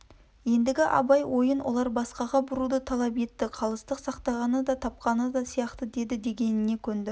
ендігі абай ойын олар басқаға бұруды талап етті қалыстық сақтағаны да тапқаны сияқты деді дегеніне көнді